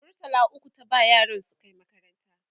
murtala ukwu ta ba yaran su Kai makaranta